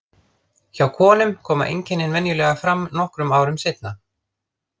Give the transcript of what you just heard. Hjá konum koma einkennin venjulega fram nokkrum árum seinna.